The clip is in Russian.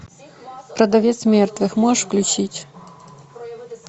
продавец мертвых можешь включить